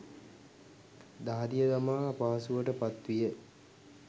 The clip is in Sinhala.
දහදිය දමා අපහසුවට පත් විය.